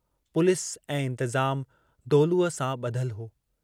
Police ऐं इंतज़ाम दौलूअ सां बुधल हो।